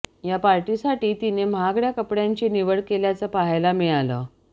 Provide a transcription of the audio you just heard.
या पार्टीसाठी तिनं महागड्या कपड्यांची निवड केल्याचं पाहायला मिळालं